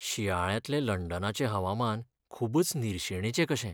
शिंयाळ्यांतलें लंडनाचें हवामान खूबच निर्शेणेचें कशें.